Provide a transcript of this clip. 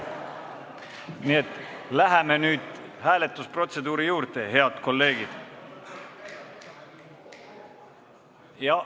Nii et läheme nüüd hääletusprotseduuri juurde, head kolleegid!